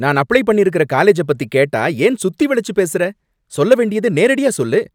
நான் அப்ளை பண்ணிருக்கற காலேஜ பத்தி கேட்டா ஏன் சுத்திவளைச்சு பேசுற? சொல்ல வேண்டியத நேரடியா சொல்லு.